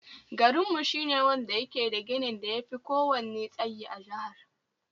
Garinmu shi ne wanda yake da ginin da yafi ko wanne tsayi a jahar